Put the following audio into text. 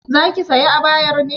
Zaki sayi abayar ne?